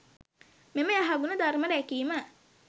මෙම යහගුණ ධර්ම රැකීම